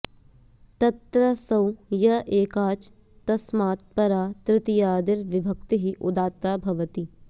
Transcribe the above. तत्र सौ य एकाच् तस्मत् परा तृतीयादिर् विभक्तिरुदात्ता भवति